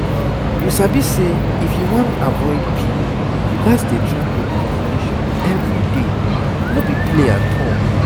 you sabi say if you wan avoid pill you gats dey track your ovulation everyday no be play at all